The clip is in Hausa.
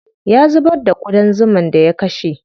Ya zubar da ƙudan zuman da ya kashe.